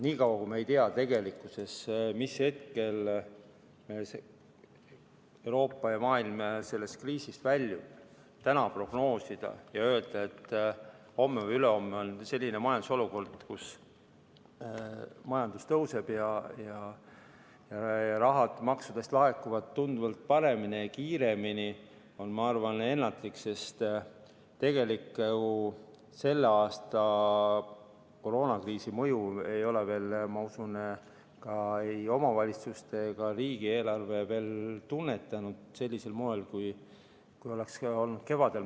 Nii kaua kui me ei tea, mis hetkel Euroopa ja maailm sellest kriisist väljub, siis täna prognoosida ja öelda, et homme või ülehomme on selline majandusolukord, kus majandus tõuseb ja maksurahad laekuvad tunduvalt paremini ja kiiremini, on, ma arvan, ennatlik, sest tegelikult ju selle aasta koroonakriisi mõju ei ole veel ei omavalitsuste eelarved ega ka riigieelarve veel tunnetanud sellisel moel, kui kevadel kartsime.